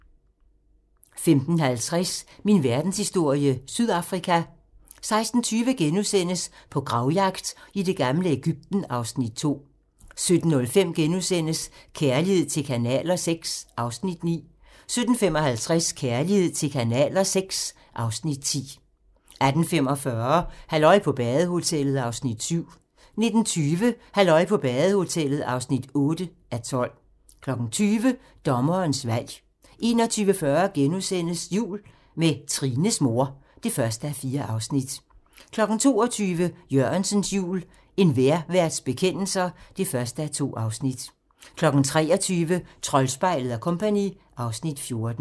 15:50: Min verdenshistorie - Sydafrika 16:20: På gravjagt i det gamle Egypten (Afs. 2)* 17:05: Kærlighed til kanaler VI (Afs. 9)* 17:55: Kærlighed til kanaler VI (Afs. 10) 18:45: Halløj på badehotellet (7:12) 19:20: Halløj på badehotellet (8:12) 20:00: Dommerens valg 21:40: Jul med Trines mor (1:4)* 22:00: Jørgensens jul - En vejrværts bekendelser (1:2) 23:00: Troldspejlet & Co. (Afs. 14)